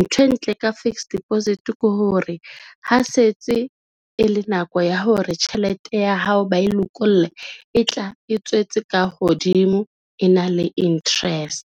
Ntho e ntle ka fixed deposit ke hore ha setse e le nako ya hore tjhelete ya hao ba e lokolle, e tla e tswetse ka hodimo, e na le interest.